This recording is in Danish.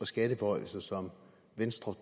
og skatteforhøjelser som venstre